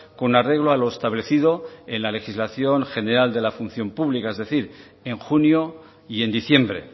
con arreglo a lo establecido en la legislación general de la función pública es decir en junio y en diciembre